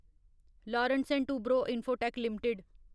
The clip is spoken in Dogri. Larsen and Toubro Infotech limited